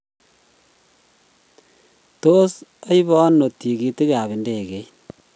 tos aibee ano tikitit ab ndegeit